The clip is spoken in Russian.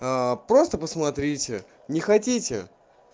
просто посмотрите не хотите